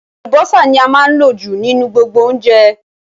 Àlùbọ́sà ní a máa ń lò jù nínú gbogbo oúnjẹ